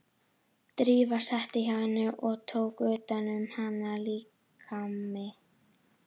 Drífa settist hjá henni og tók utan um hana, líkami